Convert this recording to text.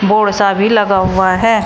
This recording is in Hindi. और साभी लगा हुआ है।